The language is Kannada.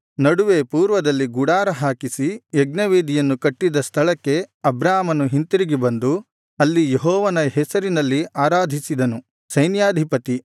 ನಡುವೆ ಪೂರ್ವದಲ್ಲಿ ಗುಡಾರ ಹಾಕಿಸಿ ಯಜ್ಞವೇದಿಯನ್ನು ಕಟ್ಟಿದ್ದ ಸ್ಥಳಕ್ಕೆ ಅಬ್ರಾಮನು ಹಿಂತಿರುಗಿ ಬಂದು ಅಲ್ಲಿ ಯೆಹೋವನ ಹೆಸರಿನಲ್ಲಿ ಆರಾಧಿಸಿದನು ಸೈನ್ಯಾಧಿಪತಿ